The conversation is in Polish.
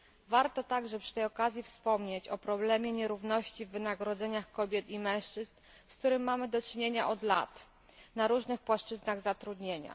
Warto także przy tej okazji wspomnieć o problemie nierówności w wynagrodzeniach kobiet i mężczyzn, z którym mamy do czynienia od lat na różnych płaszczyznach zatrudnienia.